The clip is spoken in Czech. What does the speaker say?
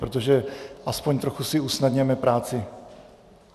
Protože aspoň trochu si usnadněme práci.